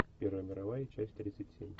первая мировая часть тридцать семь